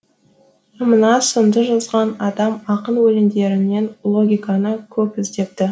мына сынды жазған адам ақын өлеңдерінен логиканы көп іздепті